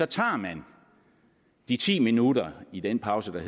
tager man de ti minutter i den pause der